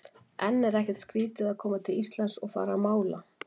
En er ekkert skrítið að koma til Íslands og fara að mála?